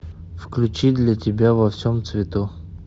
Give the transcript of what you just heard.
включи для тебя во всем цвету